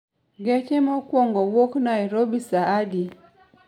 Gache mokuongo wuok Nairobi saa adi?